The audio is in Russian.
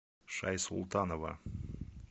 шайсултанова